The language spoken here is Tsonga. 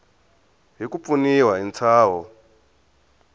hi ku pfuniwa hi ntshaho